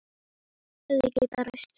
Hefði getað ræst.